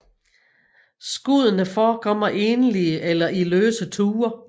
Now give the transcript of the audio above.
Skuddene forekommer enlige eller i løse tuer